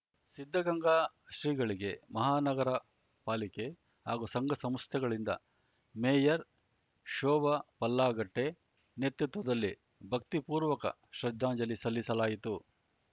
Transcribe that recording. ಸಿದ್ಧಗಂಗಾ ಶ್ರೀಗಳಿಗೆ ಮಹಾ ನಗರಪಾಲಿಕೆ ಹಾಗೂ ಸಂಘಸಂಸ್ಥೆಗಳಿಂದ ಮೇಯರ್‌ ಶೋಭಾ ಪಲ್ಲಾಗಟ್ಟೆ ನೇತೃತ್ವದಲ್ಲಿ ಭಕ್ತಿಪೂರ್ವಕ ಶ್ರದ್ಧಾಂಜಲಿ ಸಲ್ಲಿಸಲಾಯಿತು